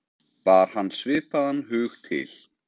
Bar hann svipaðan hug til